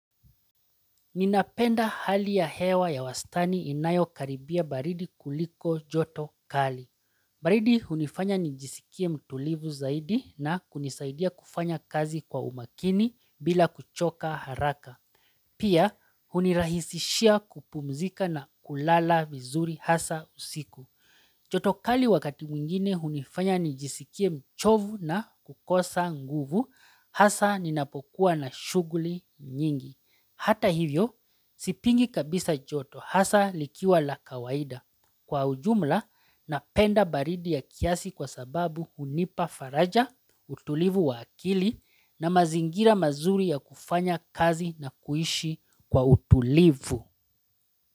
Ninapenda hali ya hewa ya wastani inayo karibia baridi kuliko joto kali. Baridi hunifanya nijisikie mtulivu zaidi na kunisaidia kufanya kazi kwa umakini bila kuchoka haraka. Pia hunirahisishia kupumzika na kulala vizuri hasa usiku. Joto kali wakati mwingine hunifanya nijisikie mchovu na kukosa nguvu hasa ninapokuwa na shughuli nyingi. Hata hivyo, sipingi kabisa joto hasa likiwa la kawaida kwa ujumla napenda baridi ya kiasi kwa sababu hunipa faraja, utulivu wa akili na mazingira mazuri ya kufanya kazi na kuishi kwa utulivu.